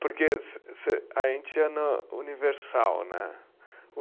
Porque se, se, a gente é universal, né?